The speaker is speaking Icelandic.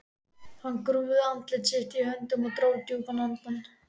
Hann grúfði andlit sitt í höndunum og dró djúpt andann.